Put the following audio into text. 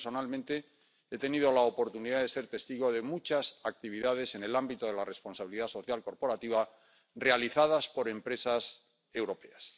Yo, personalmente, he tenido la oportunidad de ser testigo de muchas actividades en el ámbito de la responsabilidad social corporativa realizadas por empresas europeas.